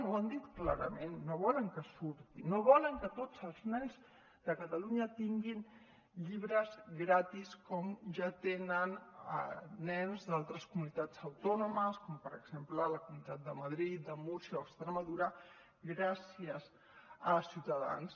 ho han dit clarament no volen que surti no volen que tots els nens de catalunya tinguin llibres gratis com ja tenen nens d’altres comunitats autònomes com per exemple la comunitat de madrid de múrcia o extremadura gràcies a ciutadans